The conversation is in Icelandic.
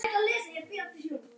Frekari orð voru óþörf.